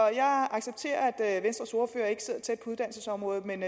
jeg accepterer at venstres ordfører ikke sidder tæt på uddannelsesområdet men